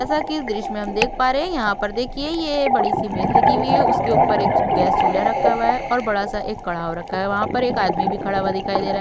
जैसा कि इस दृश्य में हम देख पा रहे है यहाँ पर देखिए यह बड़ी-सी मेज लगी हुई है। उसके ऊपर एक गैस चूल्हा रखा हुआ है और बड़ा-सा एक कड़ाव रखा है। वहाँ पर एक आदमी भी खड़ा हुआ दिखाई दे रहा --